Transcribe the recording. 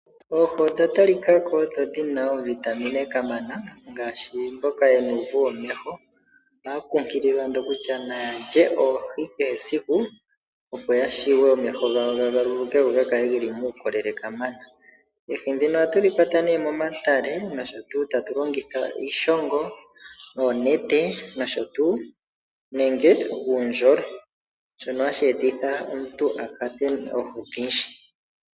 Oohi odha talika ko odho dhina oovitamine kamana ngaashi mboka yena uuvu womeho otaya kunkililwa ando kutya naya lye oohi kehe esiku opo ya vule omeho gawo ga galuluke go gakale geli muukolele kamana. Oohi ndhino ohatu dhi kwata nee momatale nosho tuu tatu longitha iishongo, oonete nosho tuu nenge uundjolo shono hashi etitha omuntu akwate oohi odhindji.